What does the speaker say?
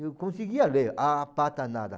Eu conseguia ler A Pata Nada.